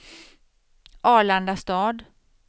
Arlandastad